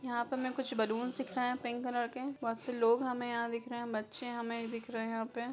यहाँ पर हमें कुछ बलून दिख रहे हैं पिंक कलर के। बहोत से लोग हमे यहाँ दिख रहे हैं। बच्चे हमें दिखे रहे हैं यहां पे ।